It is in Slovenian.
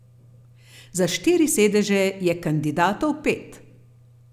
Za štiri sedeže je kandidatov pet.